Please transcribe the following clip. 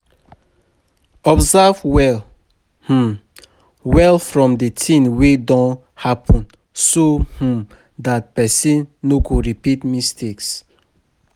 Observe well um well from di thing wey don happen so um dat person no go repeat mistakes